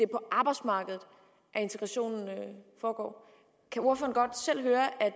på arbejdsmarkedet at integrationen foregår kan ordføreren godt selv høre at